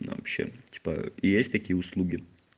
вообще типа есть такие услуги